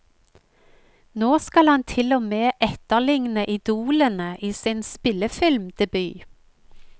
Nå skal han til og med etterligne idolene i sin spillefilmdebut.